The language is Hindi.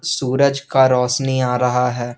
सूरज का रौशनी आ रहा है।